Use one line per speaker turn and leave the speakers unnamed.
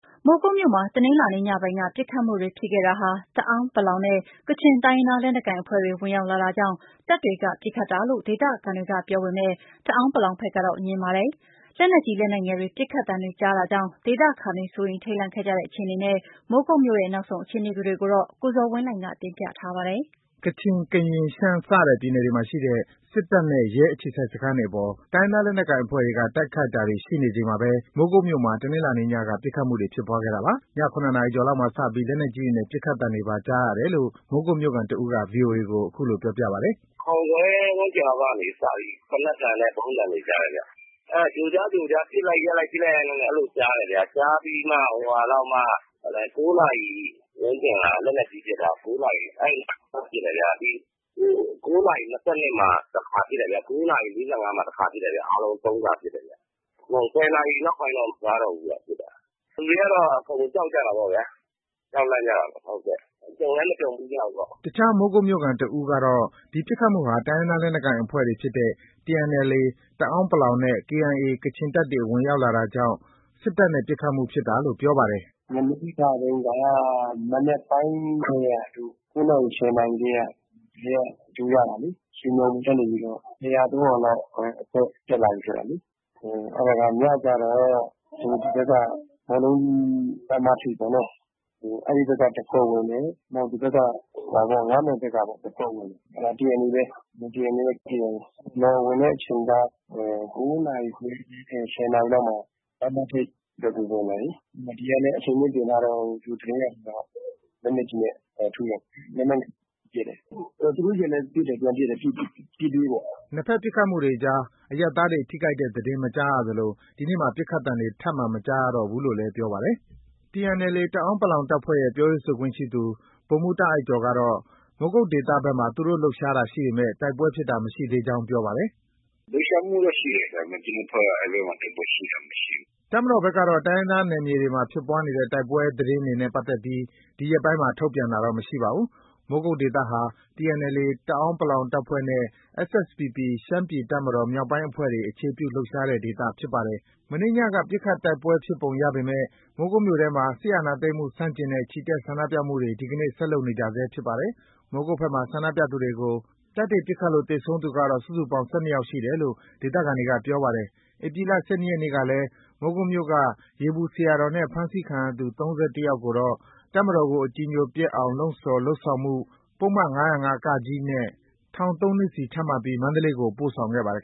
မိုးကုတ်မြို့မှာ တနင်္လာနေ့ညပိုင်းက ပစ်ခတ်မှုတွေဖြစ်ခဲ့တာဟာ တအာင်း နဲ့ ကချင် တိုင်းရင်းသားလက်နက်ကိုင်အဖွဲ့တွေ ဝင်ရောက်လာတာကြောင့် တပ်တွေက ပစ်ခတ်တာလို့ ဒေသခံတွေက ပြောပေမဲ့ တအာင်း ဘက်ကတော့ ငြင်းပါတယ်။ လက်နက်ကြီး၊ လက်နက်ငယ်တွေ ပစ်ခတ်သံတွေကြားတာကြောင့် ဒေသခံတွေ စိုးရိမ်ထိတ်လန့်ခဲ့ကြတဲ့ အခြေအနေနဲ့ မိုးကုတ်မြို့ရဲ့ နောက်ဆုံး အခြေအနေကို ကိုဇော်ဝင်းလှိုင်က တင်ပြပါမယ်။ ကချင်၊ ကရင်၊ ရှမ်းစတဲ့ပြည်နယ်တွေမှာ ရှိတဲ့ စစ်တပ်နဲ့ ရဲ အခြေစိုက်စခန်းတွေအပေါ် တိုင်းရင်းသား လက်နက်ကိုင်အဖွဲ့တွေက တိုက်ခိုက်တာတွေ ရှိနေချိန်မှာပဲ မိုးကုတ်မြို့မှာ တနင်္လာနေ့ညက ပစ်ခတ်မှုတွေ ဖြစ်ပွားခဲ့တာပါ။ ည ၇ နာရီကျော်လောက်မှာ စပြီး လက်နက်ကြီးတွေနဲ့ ပစ်တဲ့အသံတွေပါ ကြားရတယ်လို့ မိုးကုတ်မြို့ခံ တစ်ဦးက ဗွီအိုအေကို အခုလို ပြောပါတယ်။
“၇ ခွဲ ဝန်းကျင်လောက်က စတင်ပြီး သေနတ်သံနဲ့ ဗုံးသံတွေ ကြားတယ်ဗျ။ ကြိုကြားကြိုကြား ပစ်လိုက်၊ ရပ်လိုက်၊ ပစ်လိုက်၊ ရပ်လိုက်နဲ့ အဲဒီလိုကြားတယ်ဗျ။ ကြားပြီးမှ ၉ နာရီဝန်းကျင်လောက်မှာ လက်နက်ကြီး ပစ်တယ်ဗျ။ ၉ နာရီ ၂၂ မှာ တစ်ခါပစ်တယ်ဗျ။ ၉ နာရီ ၄၅ မှာ တစ်ခါပစ်တယ်ဗျ။ အားလုံး ၃ ခါ ပစ်တယ်။ ၁၀ နာရီနောက်ပိုင်းတော့ မကြားတော့ဘူးဗျ ပစ်တာ။ လူတွေကတော့ အကုန် ကြောက်ကြတာပေ့ါဗျာ။ ကြုံလည်း မကြုံဘူးတော့။
” အခြား မိုးကုတ်မြို့ခံတစ်ဦးကတော့ ဒီပစ်ခတ်မှုဟာ တိုင်းရင်းသား လက်နက်ကိုင်အဖွဲ့တွေဖြစ်တဲ့ TNLA တအာင်း နဲ့ KIA ကချင်တပ်တွေ ဝင်ရောက်လာတာကြောင့် စစ်တပ်နဲ့ ပစ်ခတ်မှုဖြစ်တာလို့ ပြောပါတယ်
။ “မနေ့ကတုန်းက မနက်ပိုင်းတည်းက ၉ နာရီ၊ ၁၀ နာရီတည်းက လူတွေက ကြိုကြတာလေ။ ရွှေညောင်ပင်ကနေပြီးတော့... ၂၀၀ - ၃၀၀ လောက် အဖွဲ့ တက်လာပြီဆိုပြီးတော့လေ။ အဲဒါက ညကျတော့ ဒီဘက်က ဘောလုံးကွင်း လမ်းမထိပ်ပေါ့နော်။ အဲဒီဘက်က တစ်ဖွဲ့ဝင်တယ်။ နောက် ၅ မိုင်ဘက်က တစ်ဖွဲ့ဝင်တယ်။ အဲဒါ TNLA ပဲ၊ TNLA နဲ့ KIA ။ ရွာကိုဝင်တဲ့အချိန် ၉ နာရီခွဲဝန်းကျင် ၁၀ နာရီလောက်မှာ လမ်းမထိပ်ဘက်ကို ဝင်တယ်လေ။ ဒီကလည်း အဆင်သင့်ပြင်ထားတော့ လက်နက်ကြီးနဲ့ ထုတယ်။ လက်နက်ငယ်တွေနဲ့လည်း ပစ်တယ်။ သူတို့ ဆီကလည်း ပြန်ပစ်တယ်။ ပစ်ပြေးပေါ့။
” နှစ်ဘက်ပစ်ခတ်မှုတွေကြား အရပ်သားတွေ ထိခိုက်တဲ့ သတင်း မကြားရသလို ဒီနေ့မှာ ပစ်ခတ်သံတွေ ထပ်မံမကြားတော့ဘူးလို့လည်း ပြောပါတယ်။ TNLA တအာင်း တပ်ဖွဲ့ရဲ့ ပြောရေးဆိုခွင့်ရှိသူ ဗိုလ်မှုးတာ့အိုက်ကျော်ကတော့ မိုးကုတ်ဒေသဘက်မှာ သူတို့ လှုပ်ရှားတာ ရှိပေမဲ့ တိုက်ပွဲဖြစ်တာ မရှိကြောင်း ပြောပါတယ်
။ “လှုပ်ရှားမှုတော့ ရှိတယ်။ ဒါပေမဲ့အဲဒီဘက်မှာ တိုက်ပွဲထိတွေ့မှုတော့ မရှိ
ဘူး။” တပ်မတော်ဘက်ကတော့ တိုင်းရင်းသားနယ်မြေတွေမှာ ဖြစ်ပွားနေတဲ့ တိုက်ပွဲသတင်းတွေနဲ့ ပတ်သက်ပြီး ဒီရက်ပိုင်းမှာ ထုတ်ပြန်တာတော့ မရှိပါဘူး။ မိုးကုတ်ဒေသဟာ TNLA တအာင်း တပ်ဖွဲ့နဲ့ SSPP ရှမ်းပြည်တပ်မတော် မြောက်ပိုင်းအဖွဲ့တွေ အခြေပြုလှုပ်ရှားတဲ့ ဒေသဖြစ်ပါတယ်။ မနေ့ညက ပစ်ခတ် တိုက်ပွဲဖြစ်ပုံရပေမဲ့ မိုးကုတ်မြို့ထဲမှာ စစ်အာဏာသိမ်းမှု ဆန့်ကျင်တဲ့ ချီတက် ဆန္ဒပြမှုတွေကို ဒီနေ့ ဆက်လုပ်နေကြဆဲဖြစ်ပါတယ်။ မိုးကုတ်ဘက်မှာ ဆန္ဒပြသူတွေကို တပ်တွေ ပစ်ခတ်လို့ သေဆုံးသူကတော့ စုစုပေါင်း ၁၂ ယောက်ရှိတယ်လို့ ဒေသခံတွေက ပြောပါတယ်။ ဧပြီလ ၁၂ ရက်နေ့ကလည်း မိုးကုတ်မြို့က ရေပူဆရာတော်နဲ့ ဖမ်းဆီးခံရသူ ၃၁ ယောက်ကိုတော့ တပ်မတော်ကို အကြည်အညိုပျက်အောင် လှုံ့ဆော် လုပ်ဆောင်မှု ပုဒ်မ ၅၀၅ ထောင်ဒဏ် ၃ နှစ်စီချမှတ်ပြီး မန္တလေးကို ပို့ဆောင်ခဲ့ပါတယ်